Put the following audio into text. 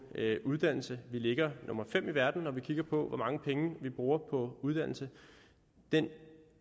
uddannelse vi ligger nummer fem i verden når man kigger på hvor mange penge vi bruger på uddannelse den